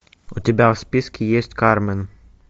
у тебя в списке есть кармен